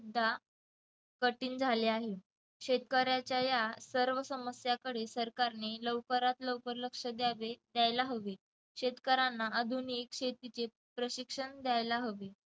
सुद्धा कठीण झाले आहे शेतकऱ्यांच्या या सर्व समस्या कडे सरकारने लवकरात लवकर लक्ष द्यावे द्यायला हवे शेतकऱ्याला आधुनिक शेतीचे प्रशिक्षण द्यायला हवे.